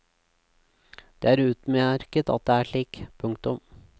Det er utmerket at det er slik. punktum